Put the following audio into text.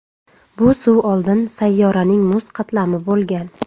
Bu suv oldin sayyoraning muz qatlami bo‘lgan.